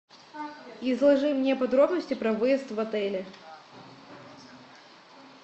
изложи мне подробности про выезд в отеле